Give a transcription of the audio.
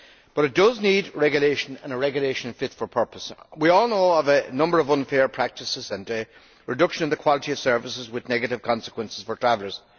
But it does need regulation, and a regulation fit for purpose. We all know of a number of unfair practices and reductions in the quality of services with negative consequences for travellers.